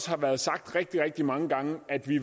har været sagt rigtig rigtig mange gange at vi